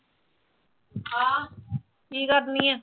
ਹਾਂ ਕੀ ਕਰਦੀ ਆਂ